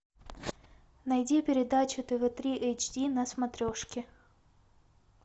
найди передачу тв три эйч ди на смотрешке